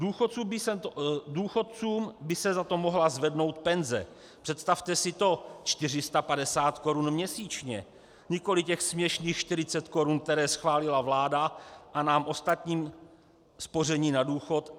Důchodcům by se za to mohla zvednou penze - představte si to, 450 korun měsíčně, nikoli těch směšných 40 korun, které schválila vláda - a nám ostatním spoření na důchod.